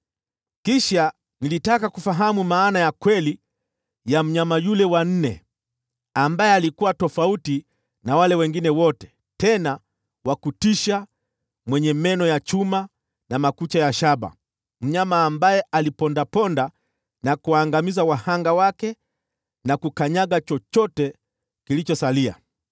“Kisha nilitaka kufahamu maana ya kweli ya mnyama yule wa nne, ambaye alikuwa tofauti na wale wengine wote, tena wa kutisha sana, na meno yake ya chuma na makucha ya shaba: mnyama ambaye alipondaponda na kuangamiza wahanga wake, na kukanyaga chochote kilichosalia.